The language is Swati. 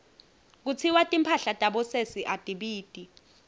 kutsiwa timphahla tabosesi atibiti